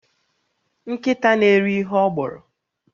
Nkịta na-eri ihe ọ gbọrọ